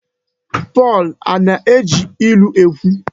Pọl Ana-eji ilu ekwu?